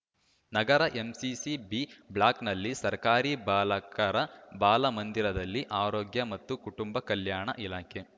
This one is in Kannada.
ನಗರದ ಎಂಸಿಸಿ ಬಿ ಬ್ಲಾಕ್‌ನ ಸರ್ಕಾರಿ ಬಾಲಕರ ಬಾಲ ಮಂದಿರದಲ್ಲಿ ಆರೋಗ್ಯ ಮತ್ತು ಕುಟುಂಬ ಕಲ್ಯಾಣ ಇಲಾಖೆ